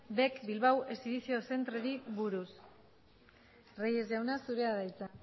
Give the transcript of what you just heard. bec bilbao exhibition centreri buruz reyes jauna zurea da hitza